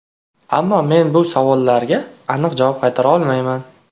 Ammo men bu savollarga aniq javob qaytara olmayman.